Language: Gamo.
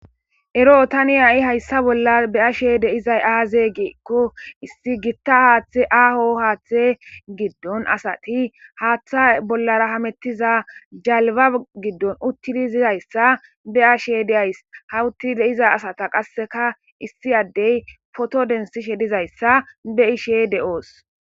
Eroo thani ha7i hayssa bollan be7aashee diizay aazee giikko issi giththa haaththee aaho haaththee giddon asathi haaththaa bollaara hameththiza jalbba giddon uththizi dizayssa be7ashee de7aays; ha uththizi de7iza asatha qasseka issi addee phootho denththishe dizayssa be7ishee de7oos.